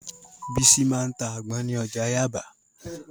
Bísí máa ta àgbọn ní ọjà Yáàbá